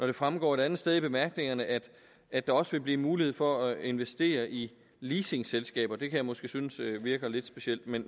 det fremgår et andet sted i bemærkningerne at at der også vil blive mulighed for at investere i leasingselskaber det kan jeg måske synes virker lidt specielt men